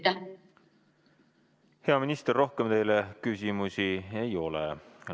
Hea minister, rohkem teile küsimusi ei ole.